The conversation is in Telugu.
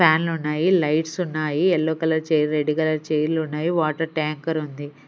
ఫ్యాన్లు ఉన్నాయి లైట్స్ ఉన్నాయి yellow colour chair red colour చైర్లు ఉన్నాయి వాటర్ టాంకర్ ఉంది.